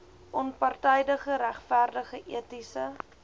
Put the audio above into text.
onpartydige regverdige etiese